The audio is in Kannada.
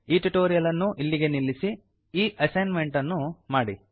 ಈ ಟ್ಯುಟೋರಿಯಲ್ ಅನ್ನು ಅಲ್ಲಿಗೆ ನಿಲ್ಲಿಸಿ ಈ ಅಸೈನ್ ಮೆಂಟ್ ಅನ್ನು ಮಾಡಿ